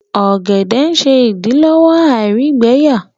ògèdè ṣe idilọwọ àìrígbẹyà